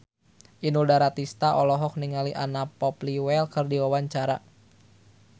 Inul Daratista olohok ningali Anna Popplewell keur diwawancara